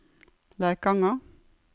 Leikanger